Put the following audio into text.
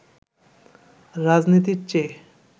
রাজনীতির চেয়ে